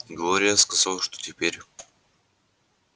глория сказала что терпеть